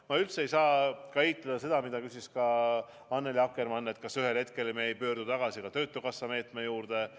Ma üldse ei saa välistada seda, mida küsis ka Annely Akkermann, et me ühel hetkel pöördume tagasi ka töötukassa meetme juurde.